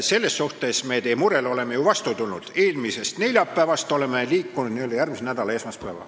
Selles suhtes me oleme teile ju vastu tulnud: eelmisest neljapäevast oleme liikunud n-ö järgmise nädala esmaspäeva.